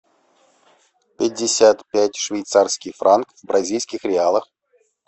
пятьдесят пять швейцарский франк в бразильских реалах